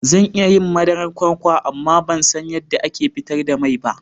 Zan iya yin madarar kwakwa amma ban san yadda ake fitar da mai ba.